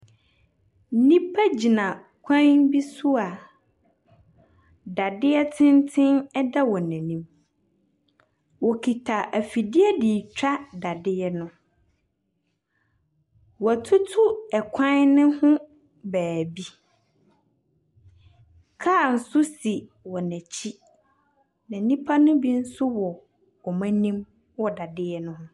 Nnipa gyina kwan bi so a dadeɛ tenten ɛda wɔn anim. Wokita afidie de twa dadeɛ no. Wotutu ɛkwan no ho baabi. Kaa so si wɔn akyi. Nnipa ne bi nso wɔ ɔmo anim wɔ dadeɛ no ho.